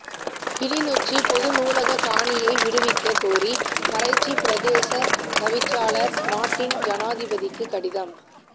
கிளிநொச்சி பொது நூலக காணியை விடுவிக்க கோரி கரைச்சி பிரதேச தவிசாளர் நாட்டின் சனாதிபதிக்கு கடிதம்